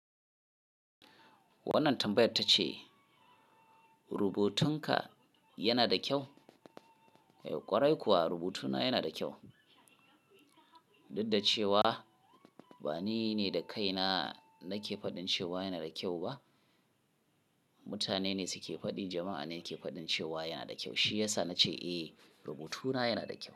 Wannan tambayar ta ce rubutunka yana da kyau? Eh ƙwarai kuwa rubutuna yana da kyau. Dudda cewa ba ni ne da kaina nake faɗin cewa yana da kyau ba, mutane ne suke faɗi, jama'a ne ke faɗin cewa yana da kyau. Shi yasa na ce eh, rubutuna yana da kyau.